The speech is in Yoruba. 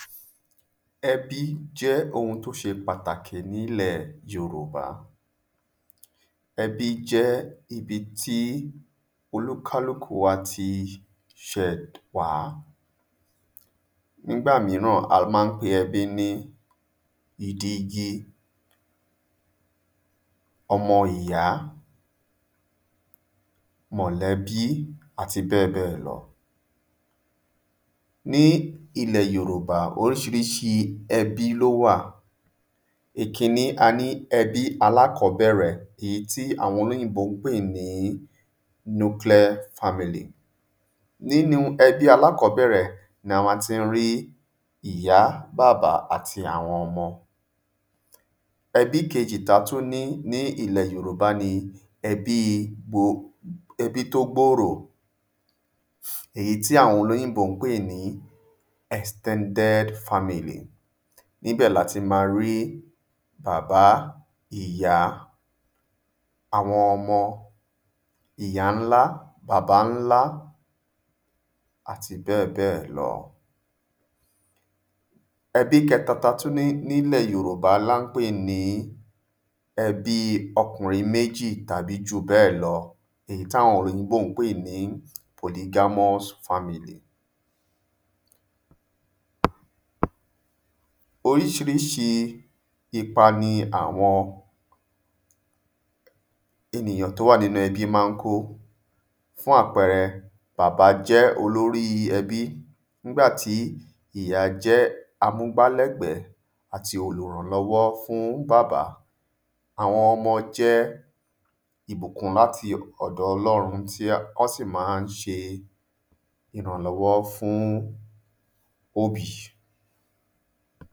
Ẹbí jẹ́ ohun t'ó ṣe pàtàkì n'ílẹ̀ yorùbá. Ẹbí jẹ́ ibi tí olúkálúkù wá ti ṣẹ̀ wá. N'ígbà míràn a má ń pe ẹbí ni ìdi igi, ọmọ ìyá, mọ̀lẹ́bí àti bẹ́ẹ̀ bẹ́ẹ̀ lọ. Ní ilẹ̀ yòrùbá oríṣiríṣi ẹbí l’ó wà Ìkiní, a ní ẹbí alákọ́bẹ̀rẹ̀ ìyí tí àwọn olóyìnbó pè ní ‘nuclear family’. N'ínu ẹbí alákọ́bẹ̀rẹ̀ ni a má tí ń rí ìyá, bàbá àti àwon ọmọ. Ẹbí kejì t’a tú ní ilè yòròbá ni ẹbí i ẹbí t’ó gbòrò. Èyí ti àwọn olóyìnbó ń pè ní ‘extended family’. Nibẹ̀ l'a ti ma rí bàbá, ìyá àwọn ọmọ, ìyáńlá, bàbáńlá àti bẹ́ẹ̀ bẹ́ẹ̀ lọ. Ẹbí kẹta ta tú ní n’ílẹ̀ yòròbá l’á n pè ní ẹbí okùnrin méjì tàbí jùbẹ́ẹ̀ lọ èyí t'áwọn òyìnbó ń pè ní ‘polygamous family’. Oríṣiríṣi ipa ni àwọn enìyàn t’ó wà n'ínú ẹbí má ń ko. Fún àpẹẹrẹ, bàbá jẹ́ olórí ẹbí n'ígbà tí ìyá jẹ́ amúgbálẹ́gbẹ́. àti olùrànlọ́wọ́ fún bàbá. Àwọn ọmọ jẹ́ ìbùkún l'áti ọ̀dọ Ọlọ́run tí wọ́n sì má ń ṣe ìrànlọ́wọ́ fún òbí.